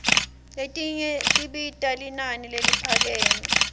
letinye tibita linani leliphakeme